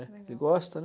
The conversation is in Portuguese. Ele gosta, né?